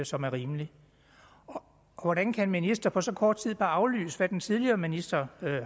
som er rimelig hvordan kan en minister på så kort tid bare aflyse hvad den tidligere minister